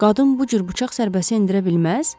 Qadın bu cür bıçaq zərbəsi endirə bilməz?